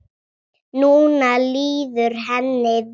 Núna líður henni vel.